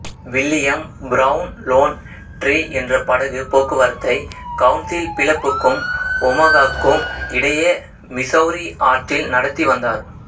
William Brown Lone Tree என்ற படகு போக்குவரத்தை கவுண்சில் பிளப்புக்கும் ஒமாகாவுக்கும் இடையே மிசௌரி ஆற்றில் நடத்தி வந்தார்